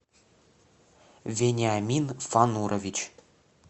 вениамин фанурович